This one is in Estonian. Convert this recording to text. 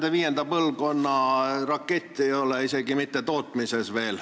Neid viienda põlvkonna rakette ei ole isegi veel mitte tootmises.